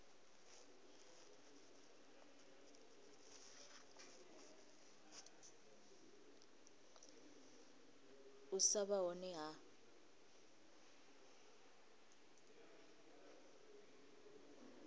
u sa vha hone ha